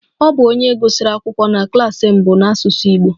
Ọ bụ onye gụsịrị akwụkwọ na klas mbụ n'asụsụ Igbo